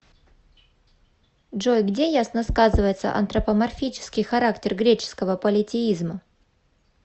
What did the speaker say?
джой где ясно сказывается антропоморфический характер греческого политеизма